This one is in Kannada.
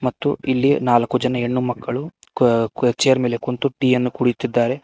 ಮತ್ತು ಇಲ್ಲಿ ನಾಲ್ಕು ಜನ ಹೆಣ್ಣು ಮಕ್ಕಳು ಕುವ್ ಕುವ್ ಚೇರ್ ಮೇಲೆ ಕುಂತು ಟೀಯನ್ನು ಕೂಡಿತಿದ್ದಾರೆ.